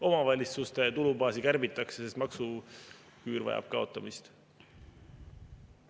Omavalitsuste tulubaasi kärbitakse, sest maksuküür vajab kaotamist.